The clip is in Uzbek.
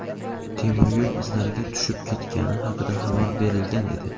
temir yo‘l izlariga tushib ketgani haqida xabar berilgan edi.